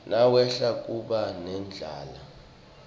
nawehla kuba nendlala